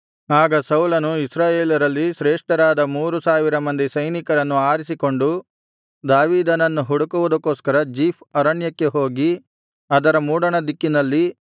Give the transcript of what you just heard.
ಆಗ ಸೌಲನು ಇಸ್ರಾಯೇಲರಲ್ಲಿ ಶ್ರೇಷ್ಠರಾದ ಮೂರು ಸಾವಿರ ಮಂದಿ ಸೈನಿಕರನ್ನು ಆರಿಸಿಕೊಂಡು ದಾವೀದನನ್ನು ಹುಡುಕುವುದಕ್ಕೋಸ್ಕರ ಜೀಫ್ ಅರಣ್ಯಕ್ಕೆ ಹೋಗಿ ಅದರ ಮೂಡಣದಿಕ್ಕಿನಲ್ಲಿ